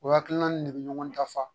O hakilina ni ne bɛ ɲɔgɔn dafa